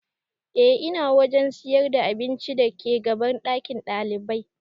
E ina wajen sayar da abincin da ke gaban ɗakin ɗalibai